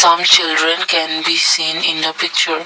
Some children can be seen in the picture.